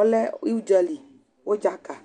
ɔlɛ udzali udza ka